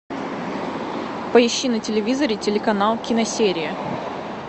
поищи на телевизоре телеканал киносерия